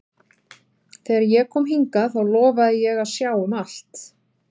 Þegar ég kom hingað þá lofaði ég að sjá um allt.